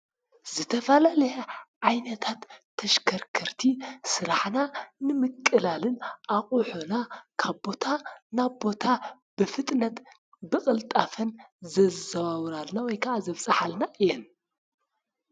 ዝተፈላለዩ ዓይነታት ተሽከረከርቲ ስራሕና ንምቅላል እና ኣቁሕና ካብ ቦታ ናብ ቦታ ብፍጥነትን ብቅልጣፈን ዘዛዋውራልና ወይ ከዓ ዘብፃሕልና እየን፡፡